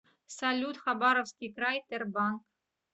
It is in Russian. салют хабаровский край тербанк